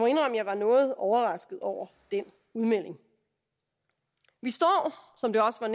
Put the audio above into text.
jeg var noget overrasket over den udmelding vi står som det også er